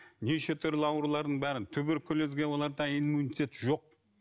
неше түрлі аурулардың бәрін туберкулезге оларда иммунитет жок